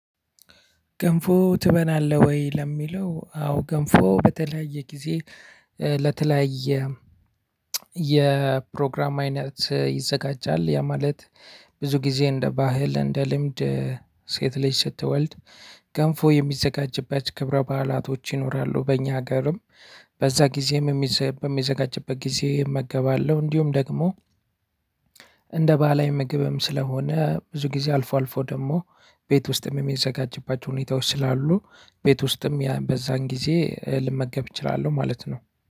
ገንፎ ትበላለህ ወይ? ለሚለው አዎ ገንፎ በተለያየ ጊዜ ለተለያየ የፕሮግራም አይነት ይዘጋጃል። ያ ማለት ብዙ ጊዜ አንደ ባህል፣ አንደ ልምድ ሴት ልጅ ስትወልድ ገንፎ የሚዘጋጅበት ክብረ በዓላቶች ይኖራሉ። በኛ አገርም በዛ ጊዜ በሚዘጋጅበት ጊዜ አመገባለሁ። አንዲሁም ደግሞ እንደ ባህላዊ ምግብም ስለሆነ፤ ብዙ ጊዜ አልፎ አልፎ ደግሞ ቤት ውስጥም የሚዘጋጅባቸው ሁኔታዎች ስላሉ ቤት ውስጥም በዛን ጊዜ ልመገብ እችላለሁ ማለት ነው።